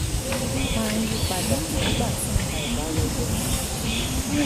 máa ń yí pa dà nígbà tí nǹkan ò bá rọgbọ nínú ìdílé